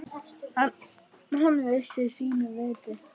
Hann vissi sínu viti.